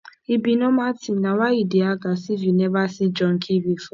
e be normal thing na why you dey act as if you never see junkie before